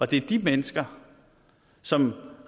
det er de mennesker som